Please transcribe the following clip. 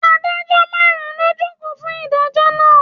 Adájọ́ márùn-ún ló jókòó fún ìdájọ́ náà.